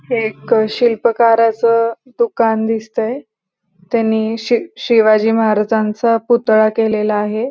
हे एक अ शिल्पकाराच दुकान दिसतय त्यांनी शी शिवाजी महाराजांचा पुतळा केलेला आहे.